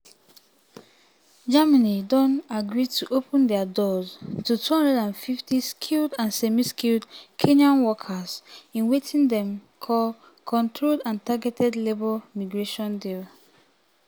germany don agree to open um dia doors to 250000 skilled and semi-skilled kenyan workers um um in wetin dem call controlled and targeted labour migration deal.